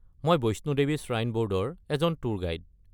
মই Vaishno Devi shrine board এজন tour guide.